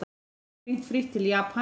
Hringt frítt til Japans